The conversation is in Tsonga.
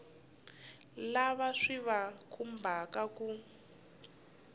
lava swi va khumbhaka ku